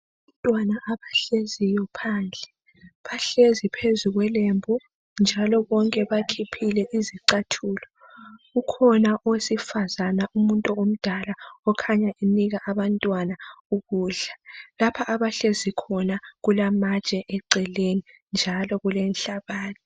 Abantwana abahleziyo phandle. Bahlezi phezu kwelembu njalo bonke bakhiphile izicathulo. Ukhona owesifazana umuntu omdala okhanya enika abantwana ukudla. Lapha abahlezi khona kulamatshe eceleni njalo kulenhlabathi.